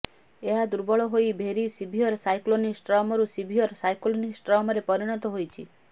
ଏହା ଦୁର୍ବଳ ହୋଇ ଭେରି ସିଭିୟର ସାଇକ୍ଲୋନିକ ଷ୍ଟର୍ମରୁ ସିଭିୟର ସାଇକ୍ଲୋନିକ ଷ୍ଟର୍ମରେ ପରିଣତ ହୋଇଛି